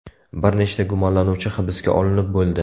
Bir nechta gumonlanuvchi hibsga olinib bo‘ldi.